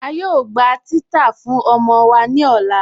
A yóò gbà titàá fún ọmọ wa ni ọlá.